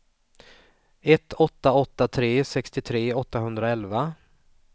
ett åtta åtta tre sextiotre åttahundraelva